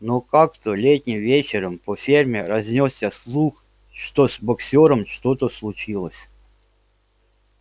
но как-то летним вечером по ферме разнёсся слух что с боксёром что-то случилось